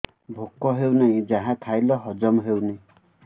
ଭୋକ ହେଉନାହିଁ ଯାହା ଖାଇଲେ ହଜମ ହଉନି